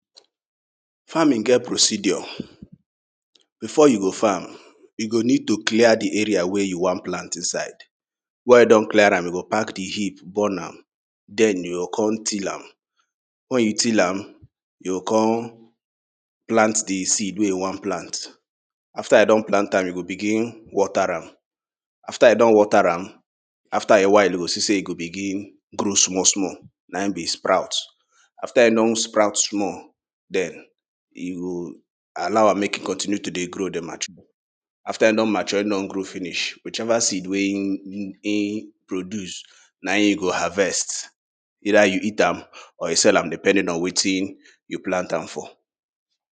Farming get procedure, before you go farm you go need to clear di area wey you wan plant inside. Wen you don clear am you go pack di hip burn am, den you go kon till am, wen you till am you go kon plant di seed wey you wan plant. After you don plant am you go begin water am, after you don water am, after a while you go see sey e go begin grow small small, naim be sprout. After e don sprout small, den you go allow am make e continue to dey grow dey mature, after e don mature, e don grow finish, which ever seed wey im produce naim you go harvest either you eat am or you sell am depending on wetin you plant am for.